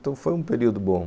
Então, foi um período bom.